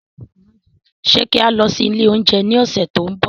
Ṣe ki a lọ si ile ounjẹ ni ọsẹ to nbọ?